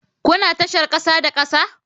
Kuna tashar kasa da kasa?